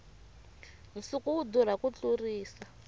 nsuku wu durha ku tlurisa